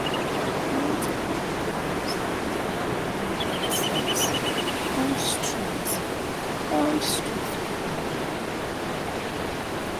community outreach programs dey help carry health sense come straight come straight to people area